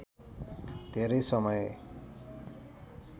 धेरै समय